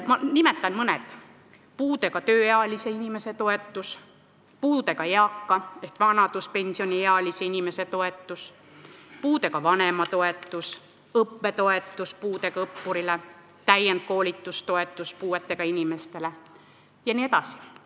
Ma nimetan mõne: puudega tööealise inimese toetus, puudega eaka ehk vanaduspensioniealise inimese toetus, puudega vanema toetus, õppetoetus puudega õppurile, täienduskoolitustoetus puudega inimesele jne.